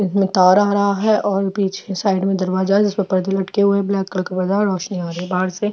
बीच में तार आ रहा है और पीछे साइड में दरवाजा है जिसमे पर्दे लटके हुए है जिसमे ब्लैक कलर का रोशनी आ रही है बाहर से--